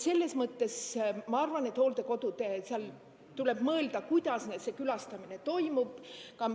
Selles mõttes ma arvan, et hooldekodudes tuleb mõelda, kuidas see külastamine toimub.